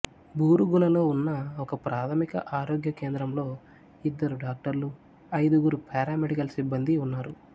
బూరుగులలో ఉన్న ఒకప్రాథమిక ఆరోగ్య కేంద్రంలో ఇద్దరు డాక్టర్లు ఐదుగురు పారామెడికల్ సిబ్బందీ ఉన్నారు